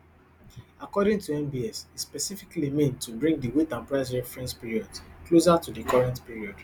according to nbs e specifically mean to bring di weight and price reference periods closer to di current period